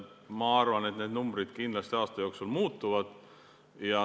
Ma arvan, et need numbrid kindlasti aasta jooksul muutuvad.